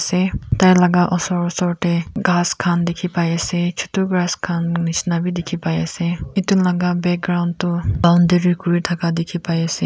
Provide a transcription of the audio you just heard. de tai laga osor osor te ghas khan dikhi pai ase chotu grass khan nishina bi dikhi pai ase itu laga background toh boundary kuri thaka dikhi pai ase.